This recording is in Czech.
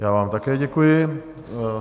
Já vám také děkuji.